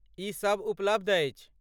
ई सब उपलब्ध अछि।